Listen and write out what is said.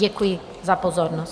Děkuji za pozornost.